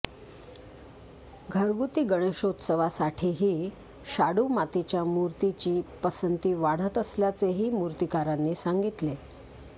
घरगुती गणेशोत्सवासाठीही शाडू् मातीच्या मूर्तीची पसंती वाढत असल्याचेही मूर्तिकारांनी सांगितले